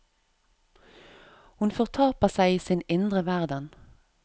Hun fortaper seg i sin indre verden.